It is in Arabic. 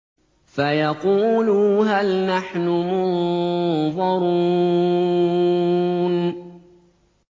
فَيَقُولُوا هَلْ نَحْنُ مُنظَرُونَ